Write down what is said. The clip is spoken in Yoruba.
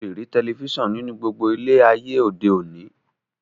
O le rí telifísàn nínú gbogbo ilé e ayé òde òní